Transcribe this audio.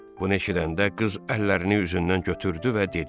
Bunu eşidəndə qız əllərini üzündən götürdü və dedi: